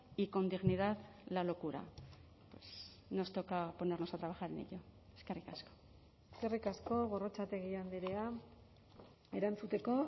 y con dignidad la locura nos toca ponernos a trabajar en ello eskerrik asko eskerrik asko gorrotxategi andrea erantzuteko